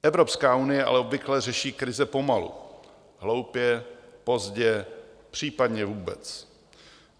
Evropská unie ale obvykle řeší krize pomalu, hloupě, pozdě, případně vůbec.